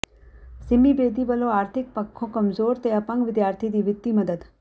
ਸਿੰਮੀ ਬੇਦੀ ਵਲੋਂ ਆਰਥਿਕ ਪੱਖੋਂ ਕਮਜ਼ੋਰ ਤੇ ਅਪੰਗ ਵਿਦਿਆਰਥੀ ਦੀ ਵਿੱਤੀ ਮਦਦ